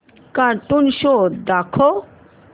cartoon show दाखव